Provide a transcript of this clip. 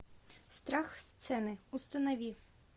страх сцены установи